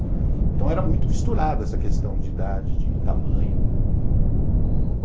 Então era muito misturado essa questão de idade, de tamanho.